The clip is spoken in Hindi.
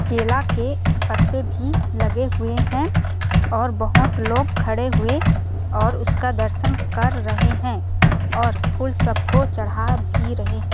केला के पत्ते भी लगे हुए हैं और बहुत लोग खड़े हुए और उसका दर्शन कर रहें हैं और फुल सबको चढ़ा भी रहें है।